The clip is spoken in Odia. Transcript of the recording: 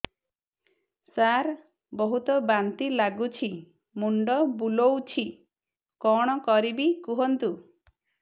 ସାର ବହୁତ ବାନ୍ତି ଲାଗୁଛି ମୁଣ୍ଡ ବୁଲୋଉଛି କଣ କରିବି କୁହନ୍ତୁ